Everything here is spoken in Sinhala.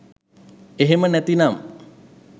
එහෙම නැති නම්